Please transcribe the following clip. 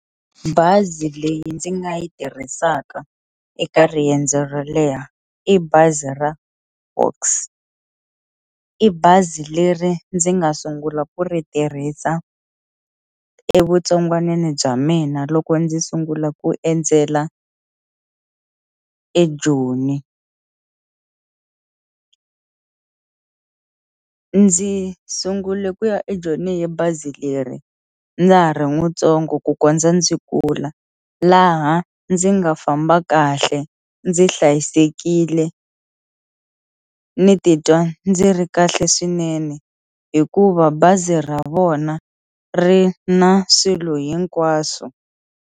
Bazi leyi ndzi nga yi tirhisaka eka riendzo ro leha i bazi ra Foxs i bazi leri ndzi nga sungula ku ri tirhisa evutsongwanini bya mina loko ndzi sungula ku endzela eJoni ndzi sungule ku ya eJoni hi bazi leri ndza ha ri mutsongo ku kondza ndzi kula laha ndzi nga famba kahle ndzi hlayisekile ndzi titwa ndzi ri kahle swinene hikuva bazi ra vona ri na swilo hinkwaswo.